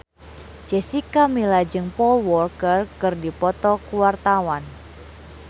Jessica Milla jeung Paul Walker keur dipoto ku wartawan